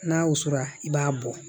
N'a wusura i b'a bɔ